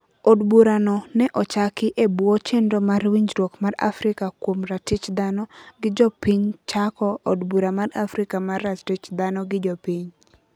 Od burano ne ochaki ebwo chenro mar winjruok mar Afrika kuom ratich dhano gi jopinychako Od bura mar Afrika mar ratich dhano gi jopiny